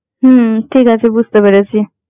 হম ঠিক আছে বুঝতে পেরেছি।